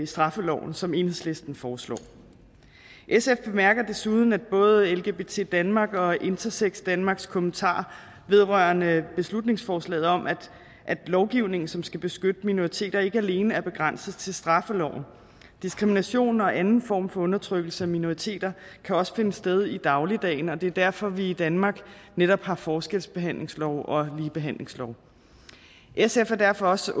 straffeloven som enhedslisten foreslår sf bemærker desuden både lgbt danmarks og intersex danmarks kommentarer vedrørende beslutningsforslaget om at lovgivningen som skal beskytte minoriteter ikke alene er begrænset til straffeloven diskrimination og anden form for undertrykkelse af minoriteter kan også finde sted i dagligdagen og det er derfor vi i danmark netop har forskelsbehandlingsloven og ligebehandlingsloven sf er derfor også